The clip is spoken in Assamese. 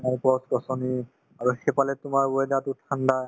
আৰু গছ-গছনি আৰু সেইফালে তোমাৰ weather তো ঠাণ্ডা